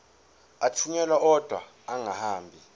athunyelwa odwa angahambi